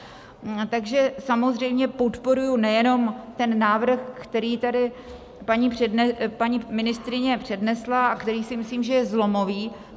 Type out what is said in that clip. Tak samozřejmě podporuji nejenom ten návrh, který tady paní ministryně přednesla a který, si myslím, že je zlomový.